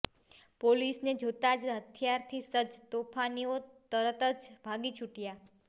પોલીસને જોતા જ હથિયારથી સજ્જ તોફાનીઓ તરત જ ભાગી છૂટયા